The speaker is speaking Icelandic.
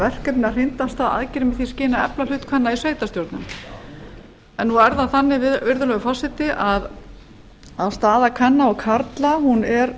verkefni að hrinda alltaf aðgerðum í því skyni að efla hlut kvenna í sveitarstjórnum nú er það þannig virðulegur forseti að staða kvenna og karla er